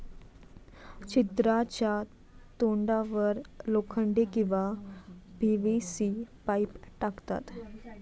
छिद्राच्या तोंडावर लोखंडी किंवा पीव्हीसी पाईप टाकतात.